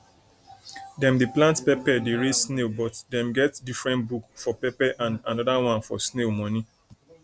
dem dey plant pepper dey raise snail but dem get different book for pepper and another one for snail money